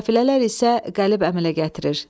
Təfilələr isə qəlib əmələ gətirir.